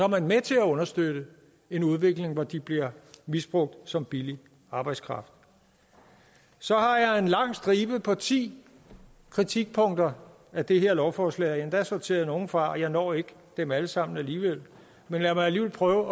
man med til at understøtte en udvikling hvor de bliver misbrugt som billig arbejdskraft så har jeg en lang stribe på ti kritikpunkter af det her lovforslag og endda sorteret nogle fra og jeg når ikke dem alle sammen alligevel men lad mig alligevel prøve